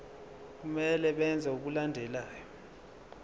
kumele benze okulandelayo